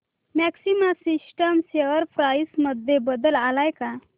maxima systems share price मध्ये बदल आलाय का